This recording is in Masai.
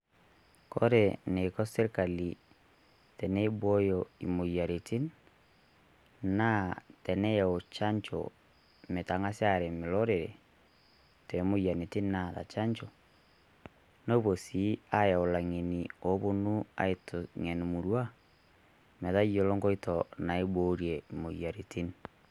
Kore neiko sirkali tenebooyo emoyarritin naa teneyau chaanjoo meetang'asi areem lorere te moyianitin naata chaanjoo, nopoo si ayau laing'eni oponu aiteng'ene murrua metaiyelo nkoito naiborie moyarritin.